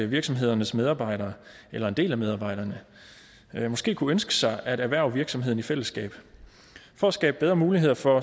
virksomhedernes medarbejdere eller en del af medarbejderne måske kunne ønske sig at erhverve virksomheden i fællesskab for at skabe bedre muligheder for